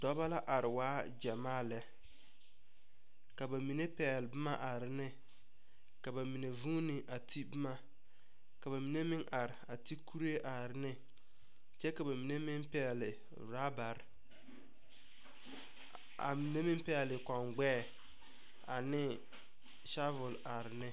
Dɔbɔ la are waa gyamaa lɛ. Ka ba mene pɛgle boma are ne. Ka ba mene vuune a te boma. Ka ba mene meŋ are a te kureɛ are ne. Kyɛ ka ba mene meŋ pɛgle robare. Ka ba mene meŋ pɛgle koɔ gbɛɛ ane shavil are ne